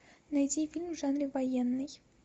найди фильм в жанре военный